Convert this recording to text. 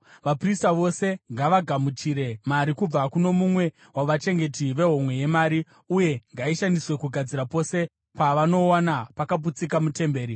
Vaprista vose ngavagamuchire mari kubva kuno mumwe wavachengeti vehomwe yemari, uye ngaishandiswe kugadzira pose pavanowana pakaputsika mutemberi.”